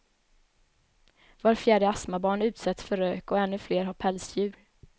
Var fjärde astmabarn utsätts för rök och ännu fler har pälsdjur.